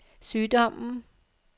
sygdommen